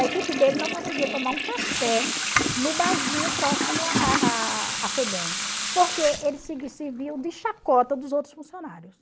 A equipe dele não conseguia tomar um café no barzinho próximo à à à Febem, porque eles serviam de chacota dos outros funcionários.